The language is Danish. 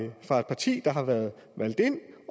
parti der har været valgt ind